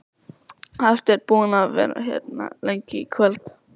Hafsteinn: Búinn að vera hérna lengi í kvöld?